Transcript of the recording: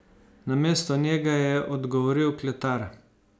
Namesto njega je odgovoril kletar.